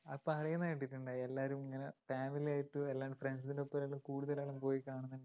പറയുന്ന കേട്ടിട്ടുണ്ട് എല്ലാരും ഇങ്ങനെ family ആയിട്ട് അല്ലാണ്ട് friends ൻറെ ഒപ്പും കൂടുതലും പോയി കാണുന്നുണ്ട്ന്ന്